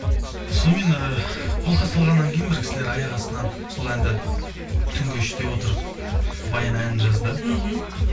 сонымен ыыы қолқа салғаннан кейін бір кісілер аяқ астынан сол әнді түнгі үште отырып баян әнін жазды мхм